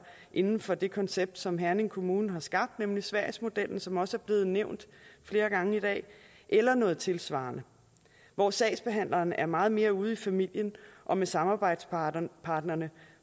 inden for det koncept som herning kommune har skabt nemlig sverigesmodellen som også er blevet nævnt flere gange i dag eller noget tilsvarende hvor sagsbehandlerne er meget mere ude i familien og med samarbejdspartnerne